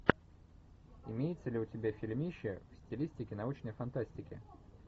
имеется ли у тебя фильмище в стилистике научной фантастики